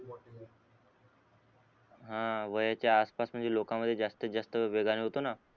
हा वयाच्या आसपास लोकांमध्ये जास्त जास्त वेगाने होतो ना